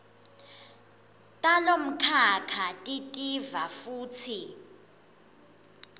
talomkhakha titiva futsi